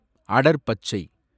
அடர் பச்சை